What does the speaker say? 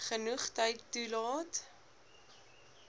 genoeg tyd toelaat